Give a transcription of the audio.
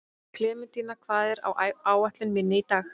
Klementína, hvað er á áætluninni minni í dag?